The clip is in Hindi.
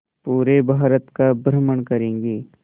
पूरे भारत का भ्रमण करेंगे